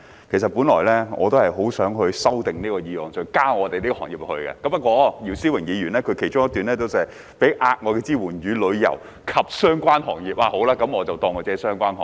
其實我本來很想修正這項議案，在議案中提及我們的行業，不過，姚思榮議員的議案中其中一段寫到："提供額外支援予旅遊及相關行業"，那麼算了，我就假設我們的行業是相關行業。